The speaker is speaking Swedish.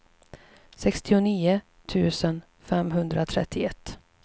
sextionio tusen femhundratrettioett